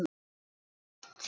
Ég fór aldrei neitt.